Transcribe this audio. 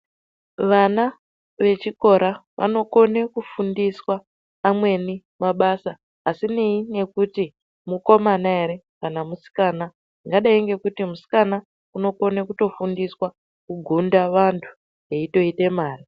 Vana vechikora vanokona kufundiswa amweni mabasa asinei nekuti mukomana ere kana musikana zvakadai nekuti musikana unokona kufundiswa kugunda vantu eyitoite mare.